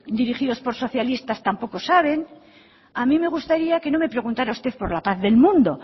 dirigidos por socialistas tampoco sabe a mí me gustaría que no me preguntara usted por la paz del mundo